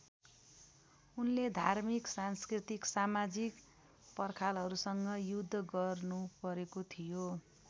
उनले धार्मिक सांस्कृतिक समाजिक पर्खालहरूसँग युद्ध गर्नुपरेको थियो।